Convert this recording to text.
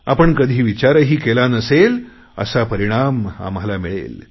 आपण कधी विचारही केला नसेल असा परिणाम आम्हाला मिळेल